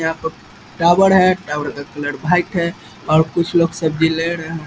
यहाँ पर टावर है टावर का कलर वाइट है और कुछ लोग सब्जी ले रहे हैं |